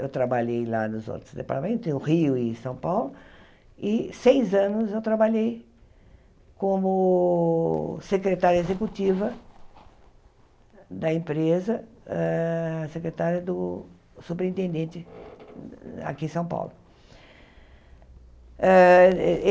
Eu trabalhei lá nos outros departamentos, no Rio e em São Paulo, e seis anos eu trabalhei como secretária executiva da empresa, ah secretária do subintendente aqui em São Paulo. Ah êh